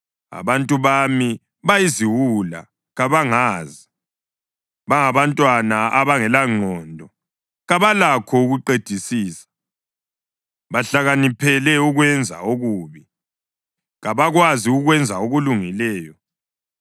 “Abantu bami bayiziwula, kabangazi. Bangabantwana abangelangqondo, kabalakho ukuqedisisa. Bahlakaniphele ukwenza okubi, kabakwazi ukwenza okulungileyo.”